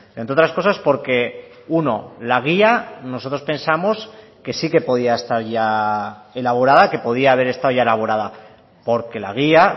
entre otras cosas porque uno la guía nosotros pensamos que sí que podía estar ya elaborada que podía haber estado ya elaborada porque la guía